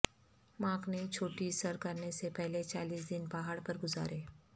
mark نے چوٹی سر کرنے سے پہلے چالیس دن پہاڑ پر گزارے